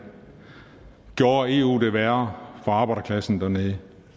gjorde eu det værre for arbejderklassen dernede